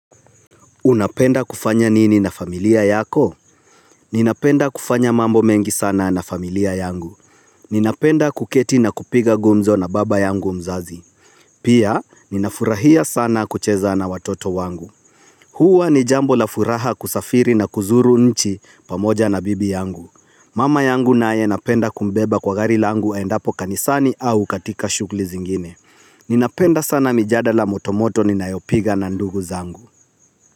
Unapenda kufanya nini na familia yako? Ninapenda kufanya mambo mengi sana na familia yangu. Ninapenda kuketi na kupiga gumzo na baba yangu mzazi. Pia, ninafurahia sana kucheza na watoto wangu. Huwa ni jambo la furaha kusafiri, na kuzuru nchi, pamoja na bibi yangu. Mama yangu naye napenda kumbeba kwa gari langu aendapo kanisani au katika shughli zingine. Ninapenda sana mijadala moto moto ninayopiga na ndugu zangu.